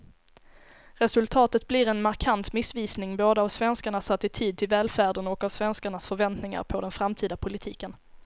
Resultatet blir en markant missvisning både av svenskarnas attityd till välfärden och av svenskarnas förväntningar på den framtida politiken.